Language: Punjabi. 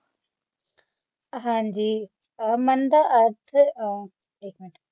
ਹਾਂਜੀ ਆ ਮੰਨ ਦਾ ਅਰਥ ਆ